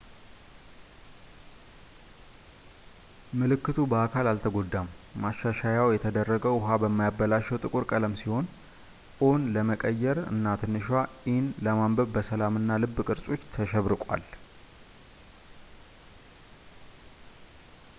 ምልክቱ በአካል አልተጎዳም፣ ማሻሻያው የተደረገ ውሃ በማያበላሸው ጥቁር ቀለም ሲሆን o”ን ለመቀየር እና ትንሿን e” ለማንበብ በሰላም እና ልብ ቅርጾች ተሸብርቋል